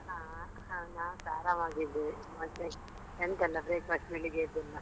ಹಾ ಹಾ ನಾನ್ಸಾ ಆರಾಮಾಗಿದ್ದೀನಿ. ಮತ್ತೆ ಎಂತೆಲ್ಲ breakfast ಬೆಳಿಗ್ಗೆದೆಲ್ಲಾ?